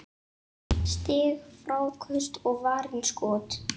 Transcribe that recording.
Stig, fráköst og varin skot